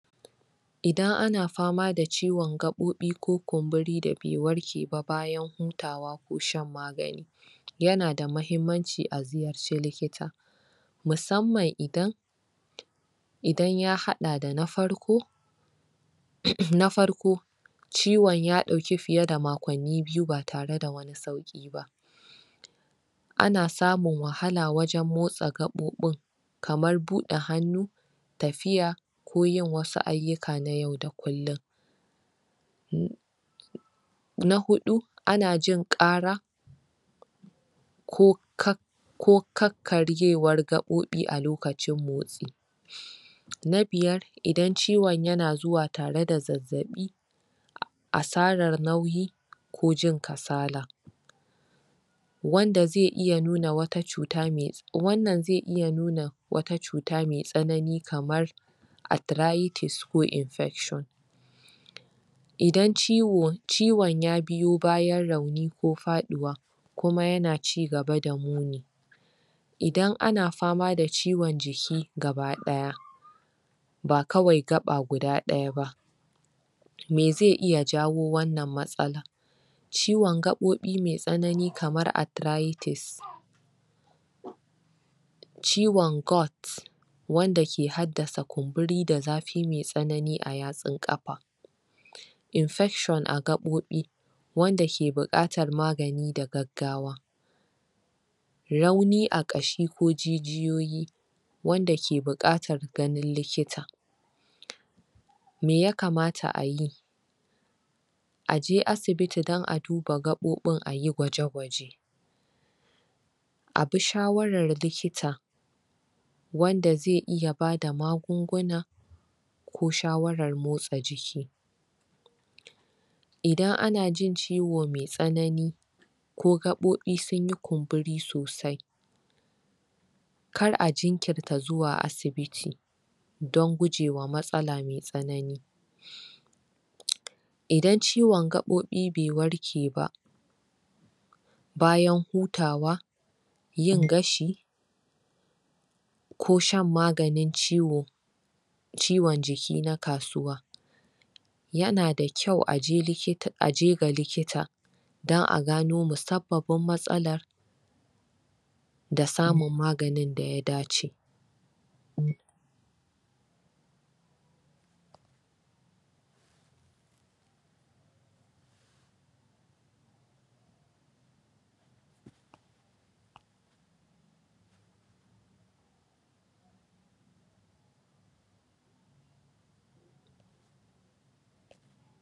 Idan ana fama da ciwon gaɓoɓi ko kumburi da bai warke ba bayan hutawa ko shan magani Yana da mahimmanci a ziyarci likita Musamman idan Idan ya haɗa da na farko Na farko Ciwon ya ɗauki fiye da makonni biyu ba tare da wani sauƙi ba Ana samin wahala wajen motsa gaɓoɓin Kamar buɗe hannu Tafiya ko yin wasu ayyuka na yau da kullum Na huɗu ana jin ƙara Ko kakkaryewar gaɓoɓi a lokacin motsi Na biyar, idan ciwon yana zuwa tare da zazzaɓi Asarar nauyi ko jin kasala Wanda zai iya nuna wata cuta mai...wannan zai iya nuna wata cuta mai tsananin kamar Arthritis ko infection Idan ciwon ya biyo bayan rauni ko faɗuwa kuma yana cigaba da muni Idan ana fama da ciwon jiki gabaɗaya Ba kawai gaɓa guda ɗaya ba Me zai iya jawo wannan matsala Ciwon gaɓoɓi mai tsanani kamar arthriris Ciwon gout Wanda ke haddasa kumburi da zafi mai tsanani a yatsun ƙafa Infection a gaɓoɓi, Wanda ke buƙatar magani da gaggawa Rauni a ƙashi ko jijiyoyi Wanda ke buƙatar ganin likita Me ya kamata a yi A je asibiti don a duba gaɓoɓin a gwaje gwaje A bi shawarar likita Wanda zai iya bada magunguna Ko shawarar motsa jiki Idan ana jin ciwo mai tsanani Ko gaɓoɓi sun yi kunburi sosai Kar a jinkirta zuwa asibiti Don gujewa matsala mai tsanani Idan ciwon gaɓoɓi bai warke ba Bayan hutawa yin gashi Ko shan maganin ciwo Ciwon jiki na kasuwa Yana da kyau a je ga likita Don a gano musab babbar matsalar Da samun maganin da ya dace